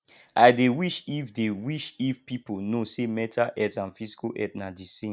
i dey wish if dey wish if people know say mental health and physical health na di same